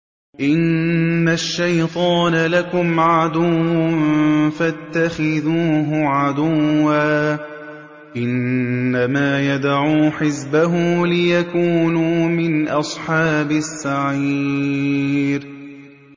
إِنَّ الشَّيْطَانَ لَكُمْ عَدُوٌّ فَاتَّخِذُوهُ عَدُوًّا ۚ إِنَّمَا يَدْعُو حِزْبَهُ لِيَكُونُوا مِنْ أَصْحَابِ السَّعِيرِ